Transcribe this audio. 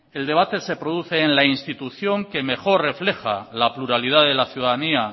el debate se produce en la institución que mejor refleja la pluralidad de la ciudadanía